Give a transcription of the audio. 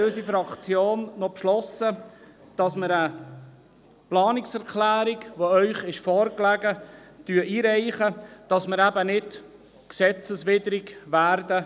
Deshalb hat unsere Fraktion beschlossen, eine Planungserklärung, die Ihnen vorliegt, einzureichen, damit wir nicht gesetzeswidrig werden.